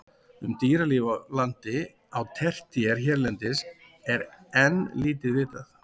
Um dýralíf á landi á tertíer hérlendis er enn lítið vitað.